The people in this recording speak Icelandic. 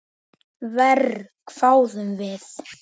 Verr, hváðum við.